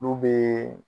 N'u bɛ